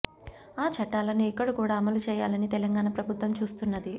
ఆ చట్టాలను ఇక్కడ కూడా అమలు చేయాలని తెలంగాణ ప్రభుత్వం చూస్తున్నది